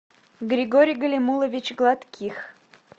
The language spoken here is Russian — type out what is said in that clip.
григорий галимулович гладких